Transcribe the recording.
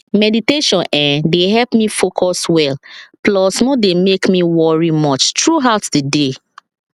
meditation[um]dey help me focus well plus no dey make me worry much throughout the day